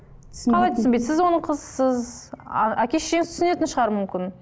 қалай түсінбейді сіз оның қызысыз а әке шешеңіз түсінетін шығар мүмкін